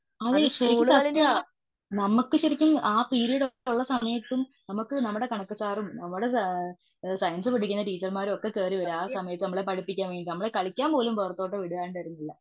അതെ ശരിക്കും സത്യാ നമുക്ക് ശരിക്കും ആ പീരിയഡ് ഉള്ള സമയത്തും നമ്മുടെ കണക്ക് സാറും നമ്മുടെ സയൻസ്സ് പഠിപ്പിക്കുന്ന ടീച്ചർമാരുമൊക്കെ കേറിവരും ആ സമയത്തു നമ്മളെ പഠിപ്പിക്കാൻ വേണ്ടീട്ട് നമ്മളെ കളിയ്ക്കാൻ പോലും പുറത്തോട്ട് വിടാറുണ്ടായിരുന്നില്ല